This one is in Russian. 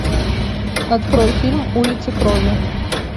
открой фильм улицы крови